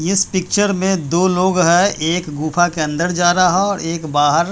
इस पिक्चर में दो लोग हैं एक गुफा के अंदर जा रहा है और एक बाहर--